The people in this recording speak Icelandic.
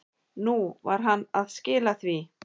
Nú var hann að skila því.